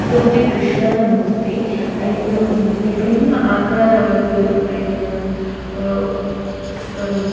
ಉಂದೊಂಜಿ ಕ್ರಷ್ಣನ ಮೂರ್ತಿ ಐನ್ ಒಂಜಿ ವಿಭಿನ್ನ ಆಕಾರವಾದ್ ಐನ್ ಅಹ್ --